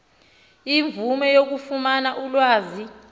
imvume yokufumana ulwazi